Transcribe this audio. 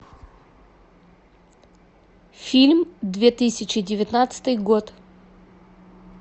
фильм две тысячи девятнадцатый год